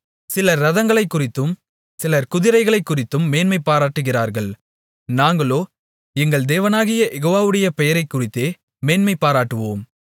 சிலர் இரதங்களைக்குறித்தும் சிலர் குதிரைகளைக்குறித்தும் மேன்மை பாராட்டுகிறார்கள் நாங்களோ எங்கள் தேவனாகிய யெகோவாவுடைய பெயரைக்குறித்தே மேன்மைபாராட்டுவோம்